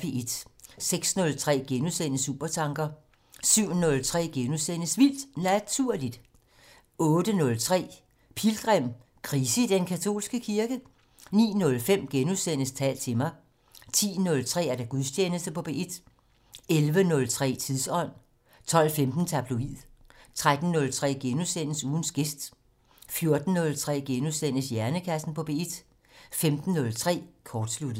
06:03: Supertanker * 07:03: Vildt Naturligt * 08:03: Pilgrim - Krise i den katolske kirke? 09:05: Tal til mig * 10:03: Gudstjeneste på P1 11:03: Tidsånd 12:15: Tabloid 13:03: Ugens gæst * 14:03: Hjernekassen på P1 * 15:03: Kortsluttet